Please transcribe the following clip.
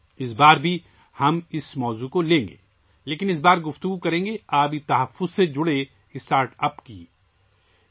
اس بار بھی ہم اس موضوع پر بات کریں گے لیکن اس بار ہم پانی کے تحفظ سے متعلق اسٹارٹ اپس کے بارے میں بات کریں گے